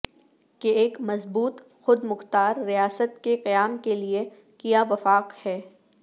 کہ ایک مضبوط خود مختار ریاست کے قیام کے لئے کیا وفاق ہے